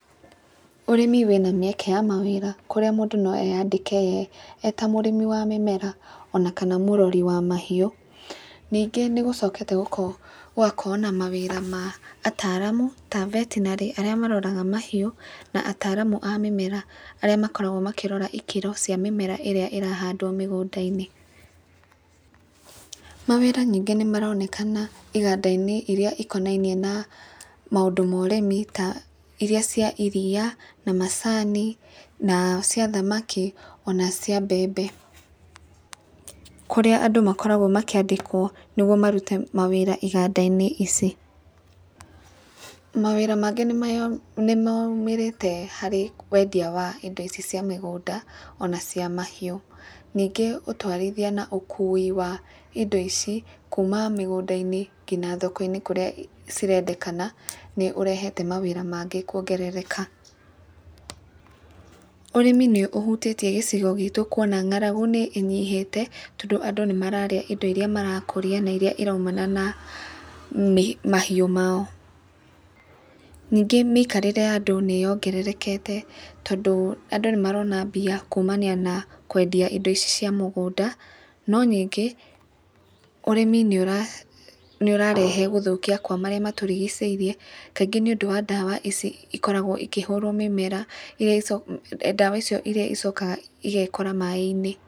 Ũrĩmi wĩna mĩeke ya mawĩra, kũrĩa mũndũ no eyandĩke ye arĩ ta mũrĩmi wa mĩmera, ona kana mũrori wa mahiũ. Ningĩ nĩ gũcokete gũgakorwo na mawĩra ma ataramu ta betinarĩ arĩa maroraga mahiũ, na ataramu a mĩmera arĩa makoragwo makĩrora ikĩro cia mĩmera ĩrĩa ĩrahandwo mĩgunda-inĩ. Mawĩra ningĩ nĩ maronekana iganda iria ikonainie na maũndũ ma ũrĩmi ta iria cia iriya, na macani, na cia thamaki, ona cia mbembe kũrĩa andũ makoragwo makĩandĩkwo nĩguo marute mawĩra iganda-inĩ ici. Mawĩra mangĩ nĩ maumĩrĩte harĩ wendia wa indo ici cia mĩgũnda ona cia mahiũ. Ningĩ ũtwarithia na ũkui wa indo ici kuma mĩgũnda-inĩ nginya thoko-inĩ kũrĩa irendekana nĩ ũrehete mawĩra mangĩ kuongerereka. Ũrĩmi nĩ ũhutĩtie gĩcigo gitũ kuona ng'aragu nĩ ĩnyihĩte kuona andũ nĩ mararĩa indo iria marakũrĩa na indo iria iraumana na mahiũ mao. Ningĩ mĩikarĩre ya andũ nĩyongererekete tondũ andũ nĩ marona mbia kumania na kwendia indo ici cia mũgũnda. No ningĩ ũrĩmi nĩũrarehe gũthũkia kwa marĩa matũrigicĩirie kaingĩ nĩũndũ wa ndawa ici cikoragwo cikĩhũrwo mĩmera ndawa icio iria icokaga igekora maaĩ-inĩ.